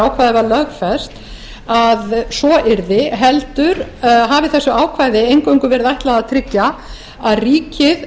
þegar ákvæðið var lögfest að svo yrði heldur hafi þessu ákvæði eingöngu verið ætlað að tryggja að ríkið